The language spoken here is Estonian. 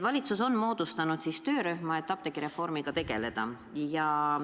Valitsus on moodustanud töörühma, et apteegireformiga tegeleda.